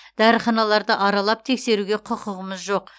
дәріханаларды аралап тексеруге құқығымыз жоқ